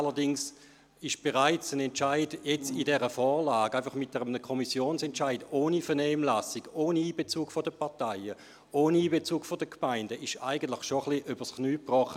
Allerdings würde in dieser Grundsatzfrage ein Entscheid im Rahmen dieser Vorlage mit einem Kommissionsentscheid ohne Vernehmlassung, ohne Einbezug der Parteien und ohne Einbezug der Gemeinden etwas übers Knie gebrochen.